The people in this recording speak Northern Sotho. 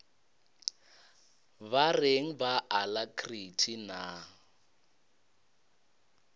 ba reng ba alacrity na